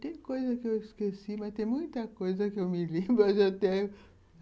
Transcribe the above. Tem coisa que eu esqueci, mas tem muita coisa que eu me lembro